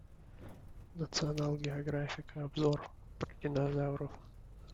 национал географика обзор про динозавров